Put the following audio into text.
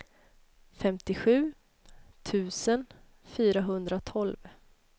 femtiosju tusen fyrahundratolv